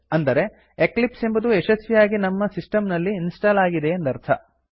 ಅಂದರೆ ಎಕ್ಲಿಪ್ಸ್ ಎಂಬುದು ಯಶಸ್ವಿಯಾಗಿ ನಮ್ಮ ಸಿಸ್ಟಮ್ ನಲ್ಲಿ ಇನ್ಸ್ಟಾಲ್ ಆಗಿದೆ ಎಂದರ್ಥ